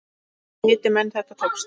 Viti menn, þetta tókst.